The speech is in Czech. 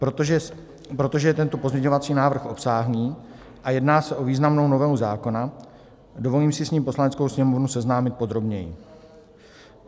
Protože je tento pozměňovací návrh obsáhlý a jedná se o významnou novelu zákona, dovolím si s ním Poslaneckou sněmovnu seznámit podrobněji.